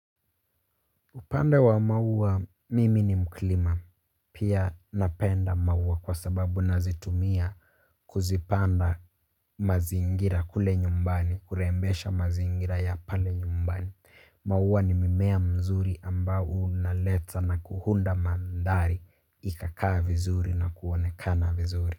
Upande wa maua mimi ni mkulima. Pia napenda maua kwa sababu nazitumia kuzipanda mazingira kule nyumbani, kurembesha mazingira ya pale nyumbani. Maua ni mimea mzuri ambao unaleta na kuhunda mandhari ikakaa vizuri na kuonekana vizuri.